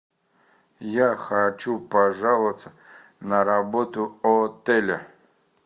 я хочу пожаловаться на работу отеля